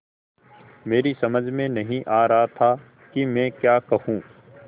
मेरी समझ में नहीं आ रहा था कि मैं क्या कहूँ